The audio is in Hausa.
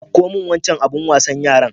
Ɗauko min wancan abin wasan yaran.